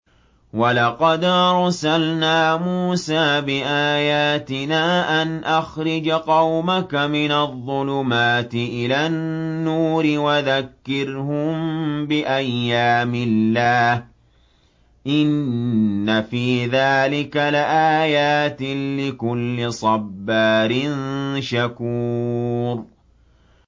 وَلَقَدْ أَرْسَلْنَا مُوسَىٰ بِآيَاتِنَا أَنْ أَخْرِجْ قَوْمَكَ مِنَ الظُّلُمَاتِ إِلَى النُّورِ وَذَكِّرْهُم بِأَيَّامِ اللَّهِ ۚ إِنَّ فِي ذَٰلِكَ لَآيَاتٍ لِّكُلِّ صَبَّارٍ شَكُورٍ